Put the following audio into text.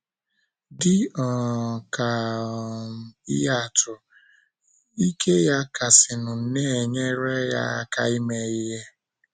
Dị um ka um ihe atụ, ike ya kasịnụ na - enyere ya aka ime ihe.